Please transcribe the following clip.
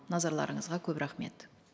назарларыңызға көп рахмет